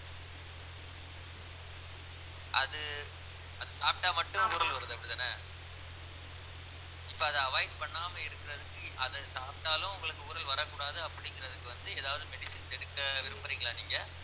அது அது சாப்பிட்டா மட்டும் ஊறல் வருது அப்படித்தானே இப்ப அதை avoid பண்ணாம இருக்கறதுக்கு அதை சாப்பிட்டாலும் உங்களுக்கு ஊறல் வரக்கூடாது அப்படிங்கறதுக்கு வந்து ஏதாவது medicines எடுக்க விரும்பறீங்களா நீங்க